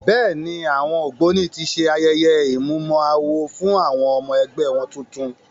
Bẹ́ẹ̀ ni, àwọn Ògbóni ti ṣe ayẹye ìmúmọ-awo fún àwọn ọmọ-ẹgbẹ́ wọn tuntun.